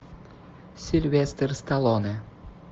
сильвестр сталлоне